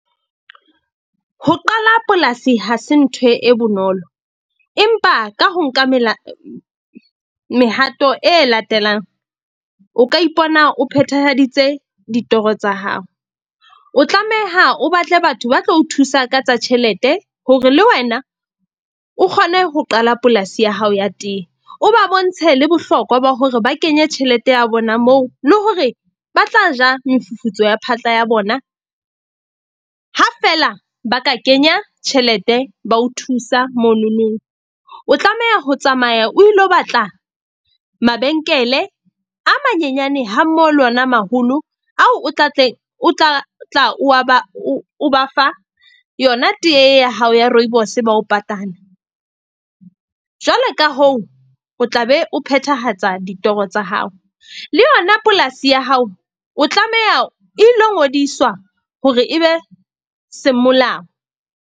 Ho qala polasi ha se ntho e bonolo empa ka ho nka mehato e latelang o ka ipona o phethahaditse ditoro tsa hao. O tlameha o batle batho ba tlo o thusa ka tsa tjhelete hore le wena o kgone ho qala polasi ya hao ya tee. O ba bontshe le bohlokwa ba hore ba kenye tjhelete ya bona moo le hore ba tla ja mofufutso wa phatla ya bona, ha fela ba ka kenya tjhelete ba o thusa mononong. O tlameha ho tsamaya o ilo batla mabenkele a manyenyane hammoho le ona a maholo ao o tla tlang o tla tla o a ba o ba fa yona tee ya hao ya Rooibos bao patale. Jwale ka hoo, o tla be o phethahatsa ditoro tsa hao. Le yona polasi ya hao o tlameha e ilo ngodiswa hore e be semolao.